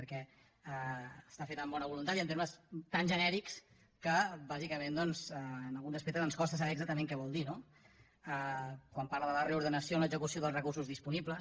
perquè està feta amb bona voluntat i termes tan genèrics que bàsicament doncs en alguns aspectes ens costa saber exactament què vol dir no quan parla de la reordenació en l’execució dels recursos disponibles